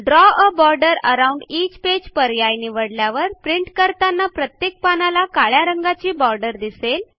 द्रव आ border around each page पर्याय निवडल्यावर प्रिंट करताना प्रत्येक पानाला काळ्या रंगाची बॉर्डर दिसेल